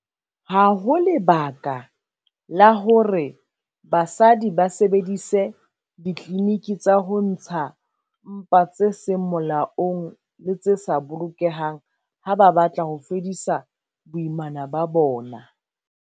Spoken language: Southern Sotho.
Ha ho lebaka la hore basadi ba sebedise ditliliniki tsa ho ntsha mpa tse seng molaong le tse sa bolokehang ha ba batla ho fedisa boimana ba bona.